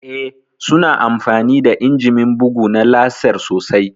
Eh, su na amfani da injimin bugu na laser sosai